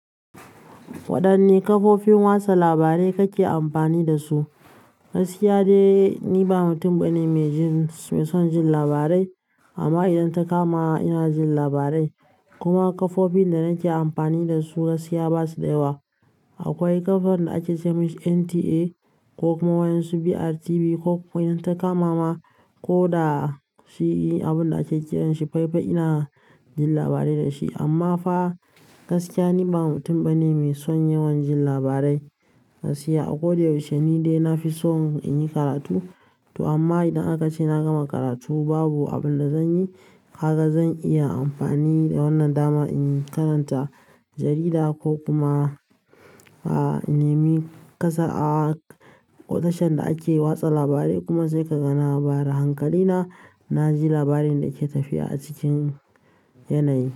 Waɗanne kafofin watsa labarai kake amfani da su? Gaskiya dai ni ba mutum bane maijin mai son jin labarai amma idan ta kama ina jin labarai kuma kafofin da nake amfani da su gaskiya basu da yawa. Akwai ƙafar da ake ce mashi NTA ko kuma wani su BRTV ko idan ta kama ma ko da shi abunda ake kiranshi FIFA ina jin labarai dashi amma fa gaskiya ni ba mutum bane mai son yawan jin labarai. Gaskiya a ko da yaushe ni dai nafi son in yi karatu to amma idan aka ce na gama karatu babu abunda zanyi haka zan iya amfani da wannan dama in karanta jarida ko kuma a, in nemi ƙasa a tashar da ake watsa labarai kuma sai ka ga na bayar da hankali na, na ji labarin da ke tafiya a cikin yanayi.